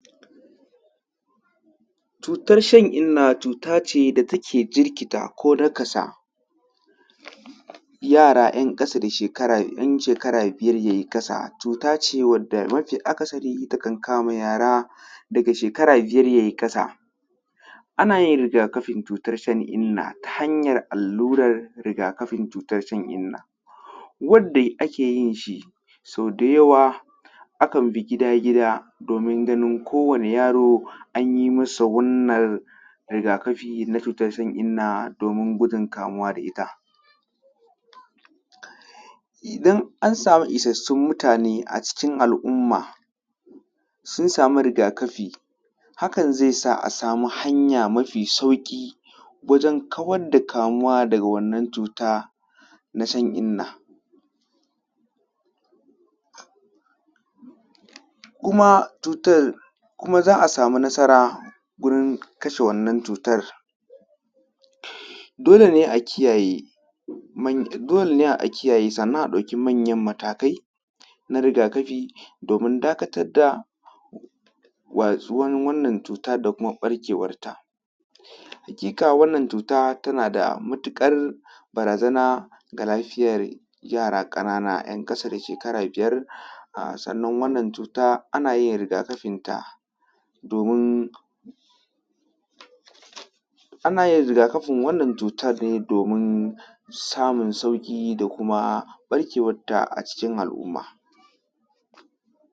Cutar shan-inna, cutace da take jirkita ko nakasa yara yan ƙasa da yan shekara biyar yayi ƙasa. Cuta ce wadda mafi akasari takan kama yara, daga shekara biyar yayi ƙasa, ana yin rigakafin cutar shan-inna, ta hanyar allurar rigakafin cutar shan-inna. Wadda ake yin shi sau da yawa akan bi gida-gida domin ganin kowani yaro anyi masa wannan rigakafi na cutar shan-inna, domin gujin kamuwa da ita. Idan an samu isassun mutane acikin al’umma, sun samu rigakafi, hakan zai sa a samu hanya mafi sauƙi wajen kawar da kamuwa daga wannan cuta na shan-inna. kuma cutar, za a samu nasara gurin kashe wannan cutar, dole ne a kiyaye, dole a kiyaye sannan a ɗauki manyan matakai na rigakafi, domin dakatar da watsuwar wannan cutar da kuma ɓarkewar ta. Haƙiƙa wannan cutar tana da matuƙar barazana ga lafiyar yara ƙanana, ’yan ƙasa da shekara biyar. Sannan wannan cuta anayin rigakafin ta, domin, anayin wannan rigakafin cutar ne domin samun sauƙi da kuma ɓarkewar ta a cikin al’umma.